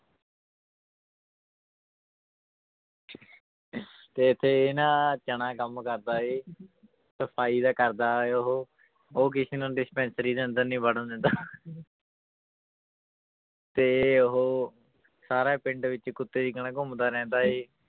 ਤੇ ਇੱਥੇ ਇਹ ਨਾ ਚਣਾ ਕੰਮ ਕਰਦਾ ਹੈ ਸਫ਼ਾਈ ਦਾ ਕਰਦਾ ਹੈ ਉਹ ਉਹ ਕਿਸੇ ਨੂੰ dispensary ਦੇ ਅੰਦਰ ਨਹੀਂ ਵੜਨ ਦਿੰਦਾ ਤੇ ਉਹ ਸਾਰਾ ਪਿੰਡ ਵਿੱਚ ਕੁੱਤੇ ਦੀ ਤਰ੍ਹਾਂ ਘੁੰਮਦਾ ਰਹਿੰਦਾ ਹੈ